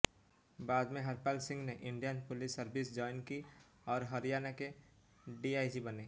बाद में हरपाल सिंह ने इंडियन पुलिस सर्विस जॉइन की और हरियाणा के डीआईजी बने